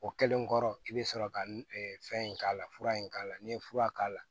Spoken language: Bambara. O kɛlen kɔrɔ i bɛ sɔrɔ ka fɛn in k'a la fura in k'a la n'i ye fura k'a la